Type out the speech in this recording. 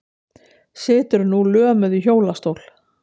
Situr nú lömuð í hjólastól.